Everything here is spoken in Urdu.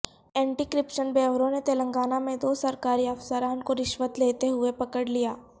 اینٹی کرپشن بیورو نے تلنگانہ میں دو سرکاری افسران کو رشوت لیتے ہوئے پکڑلیا